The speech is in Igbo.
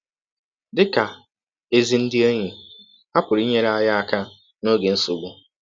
Dị ka ezi ndị enyi, ha pụrụ inyere anyị aka n’ọge nsọgbụ.